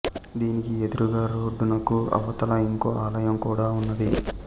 దీనికి ఎదురుగా రోడ్డునకు అవతల ఇంకో ఆలయం కూడ ఉన్నది